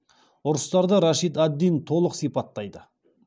ұрыстарда рашид ад дин толық сипаттайды